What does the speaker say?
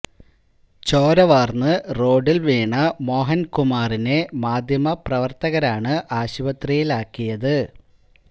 ചോര വാര്ന്ന് റോഡില് വീണ മോഹന് കുമാറിനെ മാധ്യമ പ്രവര്ത്തകരാണ് ആശുപത്രിയിലാക്കിയത്